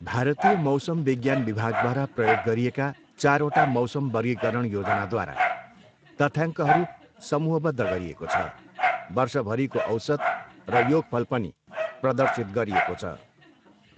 भारतीय मौसम विज्ञान विभागद्वारा प्रयोग गरिएका चारवटा मौसम वर्गीकरण योजनाद्वारा तथ्याङ्कहरू समूहबद्ध गरिएको छ, वर्षभरीको औसत र योगफल पनि प्रदर्शित गरिएको छ।